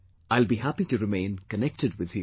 I will be happy to remain connected with you